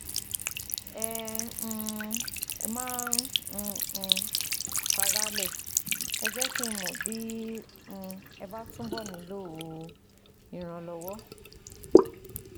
Ẹ um má um má fara á lẹ̀ Ẹ jẹ́ kí n mọ̀ bí um ẹ bá túbọ̀ nílò ìrànlọ́wọ́